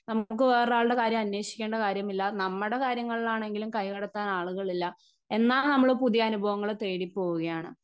Speaker 1 നമുക്കു വേറെ ആളുടെ കാര്യം അന്വേഷിക്കേണ്ട കാര്യമില്ല നമ്മുടെ കാര്യങ്ങളാണെങ്കിലും കൈകടത്താൻ ആളുകൾ ഇല്ല എന്നാ നമ്മള് പുതിയ അനുഭവങ്ങളെ തേടി പോവുകയാണ്.